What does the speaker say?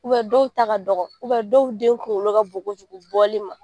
dɔw ta ka dɔgɔ dɔw den kungolo ka bon kojugu bɔli ma